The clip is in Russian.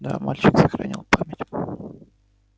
да мальчик сохранил память